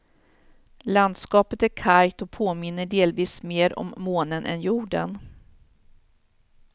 Landskapet är kargt och påminner delvis mer om månen än jorden.